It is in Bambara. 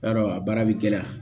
I y'a dɔn a baara bɛ gɛlɛya